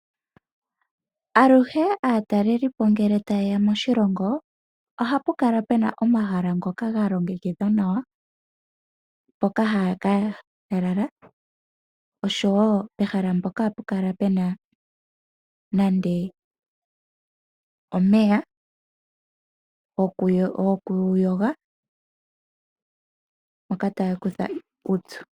Aluhe aatalelipo ngele tayeya moshilongo ohapu kala pena omahala ngoka ga longekidhwa nawa mpoka haya ka lala oshowo pehala mpoka ohapu kala pena nande omeya gokuyoga moka taa kutha uupyu.